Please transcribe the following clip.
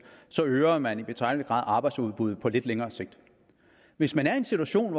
så øger man i betragtelig grad arbejdsudbuddet på lidt længere sigt hvis man er i en situation